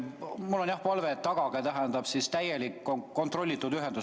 Mul on palve, et tagage täielik kontrollitud ühendus.